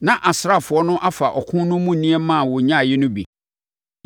Na asraafoɔ no afa ɔko no mu nneɛma a wɔnyaeɛ no bi.